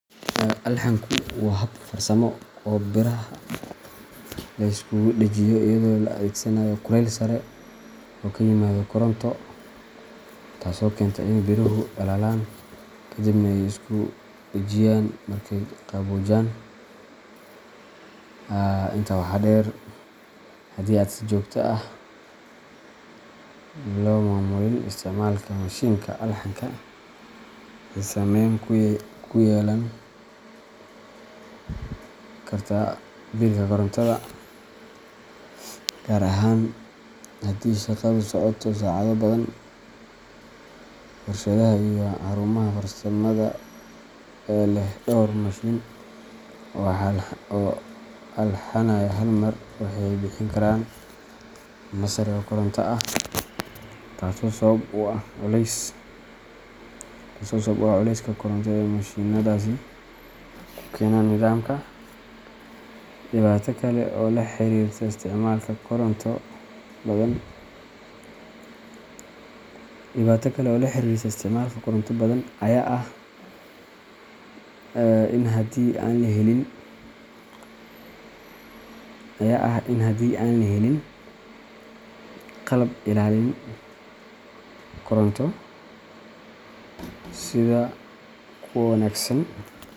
Alxanku waa hab farsamo oo biraha lagu isku dhajiyo iyadoo la adeegsanayo kulayl sare oo ka yimaada koronto, taasoo keenta in biruhu dhalaalaan ka dibna ay isku dhajiyaan markay qaboojaan. Intaa waxaa dheer, haddii aan si joogto ah loo maamulin isticmaalka mashiinka alxanka, waxay saameyn ku yeelan kartaa biilka korontada, gaar ahaan haddii shaqadu socoto saacado badan. Warshadaha iyo xarumaha farsamada ee leh dhowr mashiin oo alxanaya hal mar waxay bixin karaan qiime sare oo koronto ah, taasoo sabab u ah culayska koronto ee mashiinnadaasi ku keenaan nidaamka. Dhibaato kale oo la xiriirta isticmaalka koronto badan ayaa ah in haddii aan la helin qalab ilaalin koronto sida kuwo wanagsan.